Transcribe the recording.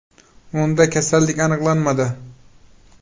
Unda kasallik aniqlanmadi .